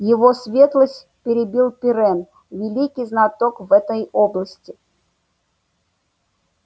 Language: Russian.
его светлость перебил пиренн великий знаток в этой области